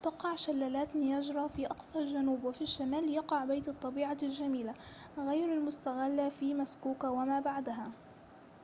تقع شلالات نياجرا في أقصى الجنوب وفي الشمال يقع بيت الطبيعة الجميلة غير المُستغلة في مسكوكا وما بعدها